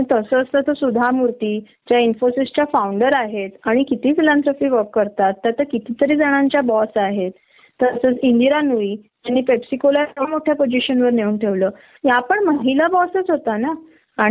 कारण का तर त्यांची फॅमिली कधी ही घेऊन जाऊ शकतात आणि त्यांच्या घरी ही बर आहे म्हंटल तर त्यांची पूर्ण फॅमिली येणार. अग आपले माहिती आहे का काय होत परदेशांत भी कुठले प्रोजेक्ट चालू असले न तर मेल कॅन्डीडेट ल फर्स्ट प्रेफ्रेन्स मिळतो